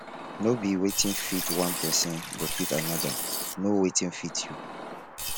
no be wetin fit one persin go fit another know wetin fit you